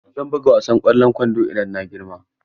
Zan buga wasan kwallon kwando idan na girma.